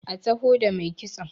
a taho da mai kitson!